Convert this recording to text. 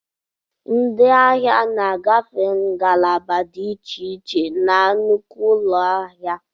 Ndị ahịa na-agafe ngalaba dị iche iche na nnukwu ụlọ ahịa.